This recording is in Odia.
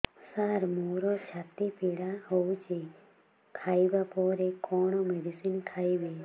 ସାର ମୋର ଛାତି ପୀଡା ହଉଚି ଖାଇବା ପରେ କଣ ମେଡିସିନ ଖାଇବି